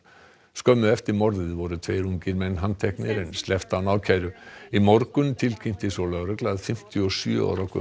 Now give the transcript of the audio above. skömmu eftir morðið voru tveir ungir menn handteknir en sleppt án ákæru í morgun tilkynnti svo lögregla að fimmtíu og sjö ára